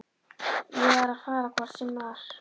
Ég var að fara hvort sem var.